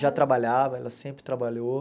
Já trabalhava, ela sempre trabalhou.